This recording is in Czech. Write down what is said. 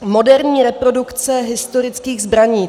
Moderní reprodukce historických zbraní.